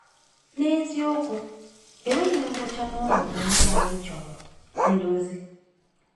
N’eziokwu, enweghị ngwụcha n’ọnọdụ ndị anyị chọrọ nduzi.